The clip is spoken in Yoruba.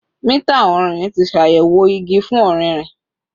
Mita ọrinrin ti ṣayẹwo igi fun ọririn